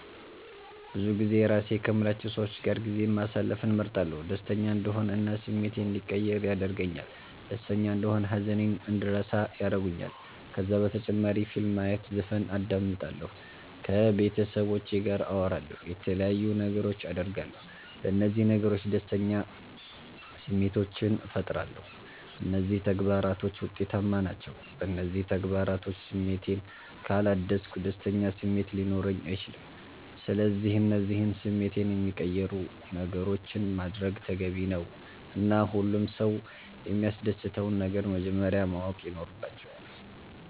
ብዙጊዜ የራሴ ከምላቸዉ ሰዎች ጋር ጊዜ ማሰለፍን እመርጣለሁ። ደሰተኛ እንድሆን እና ስሜቴ እንዲቀየር ያደርገኛል ደስተና እንደሆን ሃዘኔን እንድረሳ ያረጉኛል። ከዛ በተጨማሪ ፊልም ማየት ዘፈን አዳምጣለሁ። ከቤተሰቦቼ ጋር አወራለሁ የተለያዩ ነገሮች አደርጋለሁ። በነዚህ ነገሮች ደስተኛ ስሜቶችን ፈጥራለሁ። እነዚህ ተግባራቶች ዉጤታማ ናቸዉ። በእነዚህ ተግባራቶች ስሜቴን ካላደስኩ ደስተኛ ስሜት ሊኖረኝ አይችልም። ስለዚህ እነዚህን ስሜቴን የሚቀይሩ ነገሮችን ማድረግ ተገቢ ነዉ እና ሁሉም ሰዉ የሚያሰደስተዉን ነገር መጀመረያ ማወቅ ይኖረባቸዋል